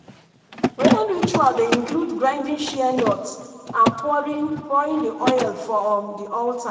rain ritual dey include grinding shea nut and pouring pouring the oil for um the altar.